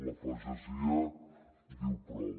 la pagesia diu prou